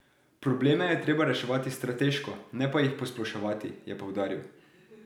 Probleme je treba reševati strateško, ne pa jih posploševati, je poudaril.